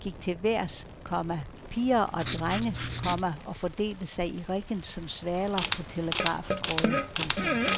Eleverne gik til vejrs, komma piger og drenge, komma og fordelte sig i riggen som svaler på telegraftråde. punktum